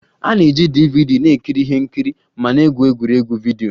A na-eji DVD na-ekiri ihe nkiri ma na-egwu egwuregwu vidio